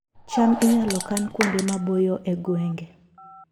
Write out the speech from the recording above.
cham inyalo kan kuonde maboyo e gwenge